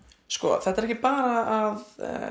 þetta er ekki bara að